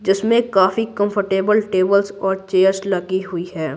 जिसमें काफी comfortable tables और चेयर्स लगी हुई है।